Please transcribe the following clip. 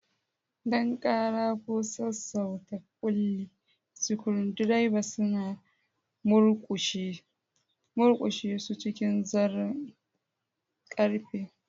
Don ƙara ko sassauta kulli, screwdrivers suna murƙushe su cikin zaren ƙarfe.